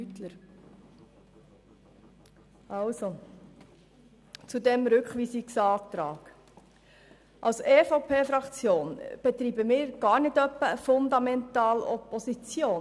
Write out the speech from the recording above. Zu diesem Rückweisungsantrag: Als EVP-Fraktion betreiben wir keine Fundamentalopposition.